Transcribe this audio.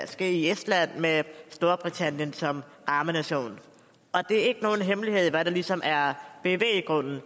ske i estland med storbritannien som rammenation og det er ikke nogen hemmelighed hvad der ligesom er bevæggrunden